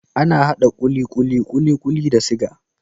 Ana hada kulikuli kulikuli da siga